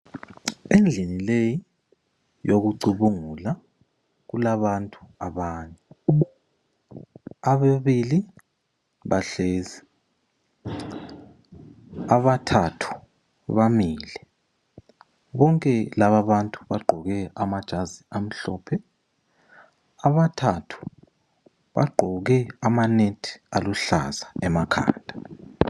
Endlini leyi yokucubungula kulabantu abane. Ababili bahlezi, abathathu bamile. Bonke lababantu bagqoke amajazi amhlophe. Abathathu bagqoke amanethi aluhlaza emakhanda.